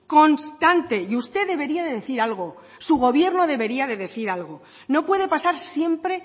constante y usted debería de decir algo su gobierno debería de decir algo no puede pasar siempre